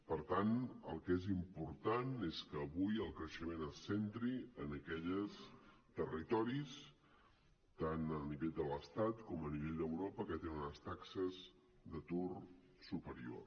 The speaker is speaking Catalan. per tant el que és important és que avui el creixement es centri en aquells territoris tant a nivell de l’estat com a nivell d’europa que tenen unes taxes d’atur superior